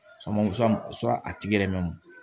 a tigi yɛrɛ mɛn